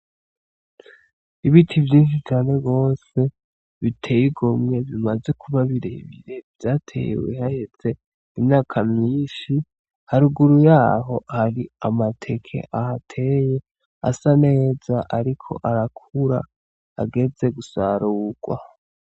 Ibiti vyinshi cane gose biteye igomwe bimaze kuba birebire, vyatewe haheze imyaka myinshi, haruguru yaho hari amateke ahateye asa neza, ariko arakura ageze gusarurwa.